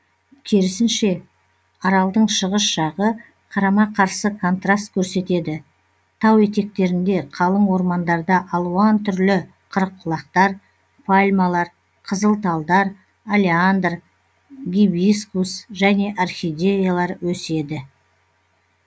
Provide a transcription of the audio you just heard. керісінше аралдың шығыс жағы қарама қарсы контраст көрсетеді тау етектерінде қалың ормандарда алуан түрлі қырыққұлақтар пальмалар қызыл талдар олеандр гибискус және орхидеялар өседі